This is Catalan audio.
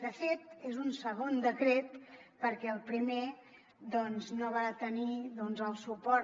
de fet és un segon decret perquè el primer no va tenir el suport